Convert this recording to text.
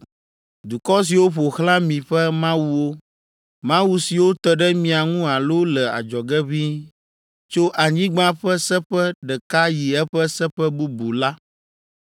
dukɔ siwo ƒo xlã mi ƒe mawuwo, mawu siwo te ɖe mia ŋu alo le adzɔge ʋĩi, tso anyigba ƒe seƒe ɖeka yi eƒe seƒe bubu’ la),